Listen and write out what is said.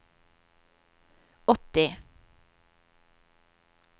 åtti